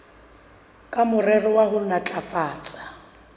ka morero wa ho matlafatsa